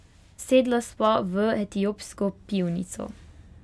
Sedla sva v etiopsko pivnico.